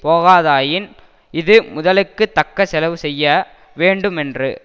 போகாதாயின் இது முதலுக்கு தக்க செலவு செய்ய வேண்டுமென்று